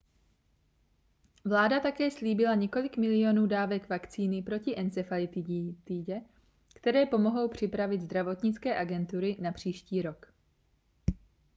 vláda také slíbila několik milionů dávek vakcíny proti encefalitidě které pomohou připravit zdravotnické agentury na příští rok